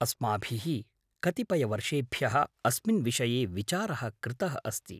अस्माभिः कतिपयवर्षेभ्यः अस्मिन् विषये विचारः कृतः अस्ति।